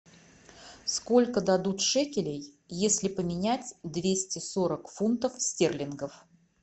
сколько дадут шекелей если поменять двести сорок фунтов стерлингов